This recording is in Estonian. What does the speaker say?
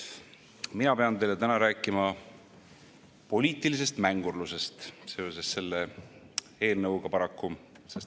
Mina pean teile täna rääkima poliitilisest mängurlusest seoses selle eelnõuga, paraku.